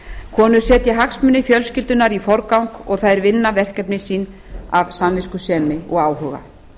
konur setja hagsmuni fjölskyldunnar í forgang og þær vinna verkefni sín af samviskusemi og áhuga